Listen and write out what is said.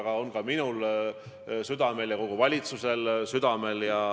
See on ka minul südamel ja kogu valitsusel südamel.